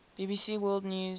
bbc world news